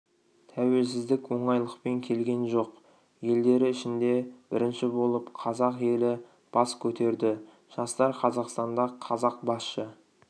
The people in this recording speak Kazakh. тәуелсіздік оңайлықпен келген жоқ елдері ішінде бірінші болып қазақ елі бас көтерді жастар қазақстанда қазақ басшы